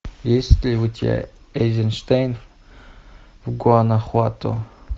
есть ли у тебя эйзенштейн в гуанахуато